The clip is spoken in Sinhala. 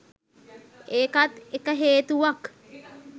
ඒකත් එක හේතුවක්